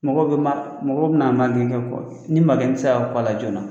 Mɔgɔ bɛ ma mɔgɔ bɛna magɛn kɛ ni magɛnni bɛ se ka kun a la joona